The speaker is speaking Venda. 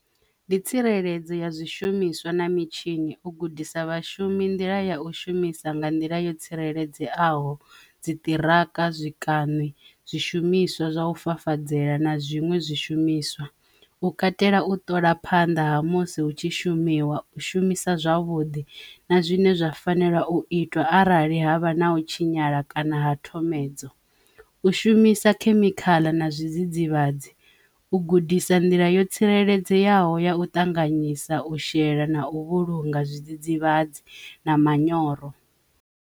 Ndi tsireledzo ya zwishumiswa na mitshini u gudisa vhashumi nḓila ya u shumisa nga nḓila yo tsireledzeaho dzi ṱiraka zwikani, zwishumiswa zwa u fafadzela na zwiṅwe zwishumiswa, u katela u ṱola phanḓa ha musi hu tshi shumiswa u shumisa zwavhuḓi na zwine zwa fanela u itwa arali havha na u tshinyala kana ha thomedzo, u shuma shumisa khemikhala na zwidzidzivhadzi u gudisa nḓila yo tsireledzeaho ya u ṱanganyisa u shela na u vhulunga zwidzidzivhadzi na manyoro.